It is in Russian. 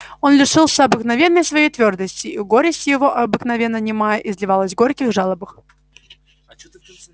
он лишился обыкновенной своей твёрдости и горесть его обыкновенно немая изливалась в горьких жалобах